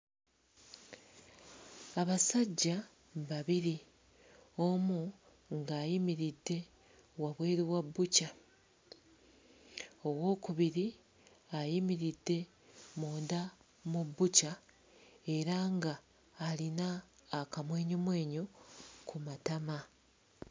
Abasajja babiri omu ng'ayimiridde wabweru wa bbukya, owookubiri ayimiridde munda mu bbukya era nga alina akamwenyumwenyu ku matama.